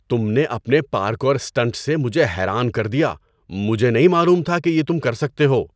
تم نے اپنے پارکور اسٹنٹ سے مجھے حیران کر دیا، مجھے نہیں معلوم تھا کہ یہ تم کر سکتے ہو۔